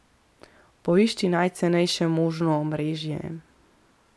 Poišči najcenejše možno omrežje.